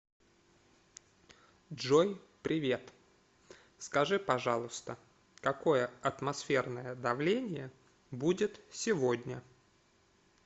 джой привет скажи пожалуйста какое атмосферное давление будет сегодня